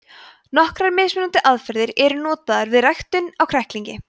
nokkrar mismunandi aðferðir eru notaðar við ræktun á kræklingi